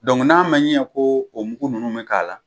Dɔnku n'a ma ɲɛ ko o mugu ninnu bi k'a la